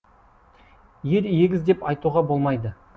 ер егіз деп айтуға болмайды